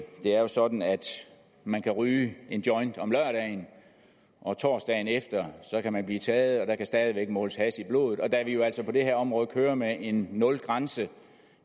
er jo sådan at man kan ryge en joint om lørdagen og torsdagen efter kan man blive taget og der kan stadig væk måles hash i blodet og da vi jo altså på det her område kører med en nulgrænse